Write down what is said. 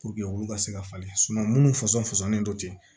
olu ka se ka falen minnu fɔsɔnnen don ten